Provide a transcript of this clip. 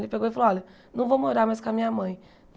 Ele pegou e falou, olha, não vou morar mais com a minha mãe.